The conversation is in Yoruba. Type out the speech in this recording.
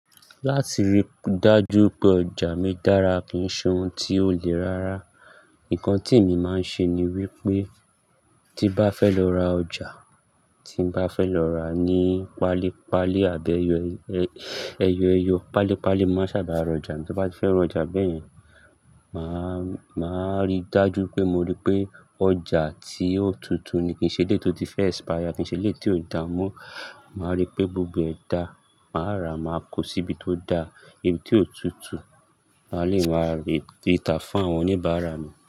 Láti rí dájú pé ọjà mi dára kí n ṣe ohun tí ó le rárá. Nǹkan tí èmi máa ń ṣe ni wípé tí bá fẹ́ lọ ra ọjà tí n bá fẹ́ lọ rà ní páálí, páálí àbẹ́ ẹyọ ẹyọ, páálí páálí máa sábà ra ọjà. Tí bá fẹ́ ra ọjà bẹ́yẹn, màá, màá rí dájú pé mo rí pé ọjà tí ó tutù ni. Kì n ṣe eleyii tò tí fẹ́ expire, kì n ṣe eleyii tí ó da mọ́. Màá rí pé gbogbo ẹ̀ dá, màá rà máa kó síbi tó da, ibi tí ó tutù. Máa leè máa rí, gbé ta fún àwọn oníbàárà mi.